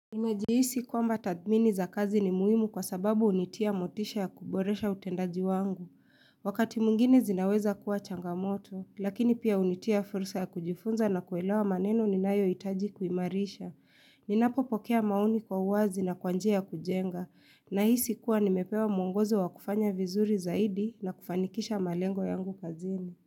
Imejiisi kuamba tadmini za kazi ni muimu kwa sababu unitia motisha ya kuboresha utendaji wangu. Wakati mungine zinaweza kuwa changamoto, lakini pia unitia fursa ya kujifunza na kuelewa maneno ni nayo itaji kuimarisha. Ninapo pokea maoni kwa uwazi na kwanjia ya kujenga, na hisi kuwa nimepewa mungozo wa kufanya vizuri zaidi na kufanikisha malengo yangu kazini.